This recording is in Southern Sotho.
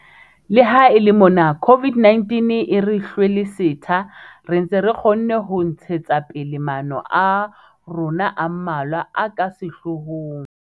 Le ha e le mona COVID-19 e re hlwele setha, re ntse re kgonne ho ntshetsa pele maano a rona a mmalwa a ka sehloohong.